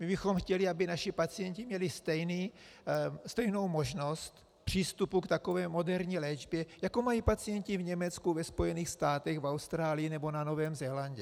My bychom chtěli, aby naši pacienti měli stejnou možnost přístupu k takové moderní léčbě, jako mají pacienti v Německu, ve Spojených státech, v Austrálii nebo na Novém Zélandě.